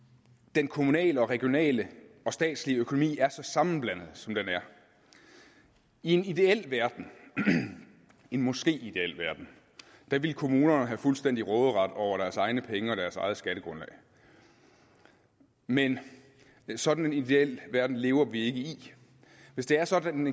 den kommunale og regionale og statslige økonomi er så sammenblandet som den er i en ideel verden en måske ideel verden ville kommunerne have fuldstændig råderet over deres egne penge og deres eget skattegrundlag men sådan en ideel verden lever vi ikke i hvis det er sådan